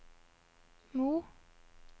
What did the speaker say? Mo